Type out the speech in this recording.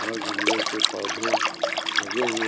और गमले के पौधे लगे हुए--